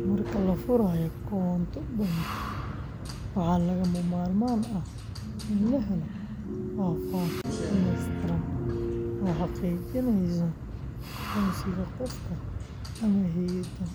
Marka la furayo koonto bangi, waxaa lagama maarmaan ah in la helo faahfaahin dhammaystiran oo xaqiijinaysa aqoonsiga qofka ama hay’adda